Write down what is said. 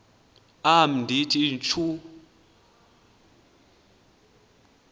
am ndithi tjhu